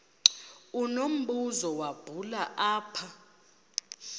unombuzo wubhale apha